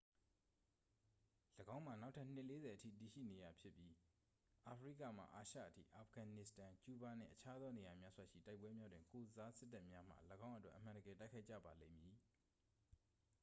၎င်းမှာ နောက်ထပ် နှစ် 40 အထိတည်ရှိနေရဖြစ်ပြီး အာဖရိကမှ အာရှအထိ အာဖဂန်နစ္စတန် ကျူးဘားနှင့် အခြားသောနေရာများစွာရှိ တိုက်ပွဲများတွင် ကိုယ်စားစစ်တပ်များမှ ၎င်းအတွက် အမှန်တကယ်တိုက်ခိုက်ကြပါလိမ့်မည်